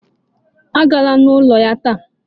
Agala n'ụlọ ya taa!